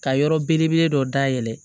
Ka yɔrɔ belebele dɔ dayɛlɛ